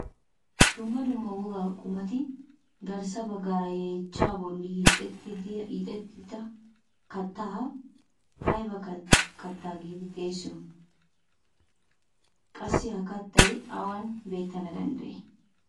Dumma dumma wogaa qumati garssa baggaara yeechchaa bolli hiixettida kaattaa ayba kattaa giidi xeegiyo? qassi ha kattay awan beettana danddayii?